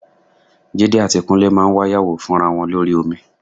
Jídé àti Kúnlé máa wáyàwó fúnra wọn lórí omi